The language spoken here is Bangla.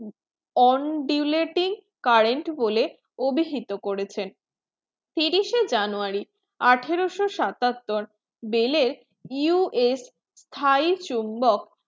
on do letting current বলে অভিহিত করেছেন তিরিশে january আঠারোশো সাতাত্তর US thai